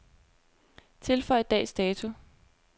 Tilføj dags dato.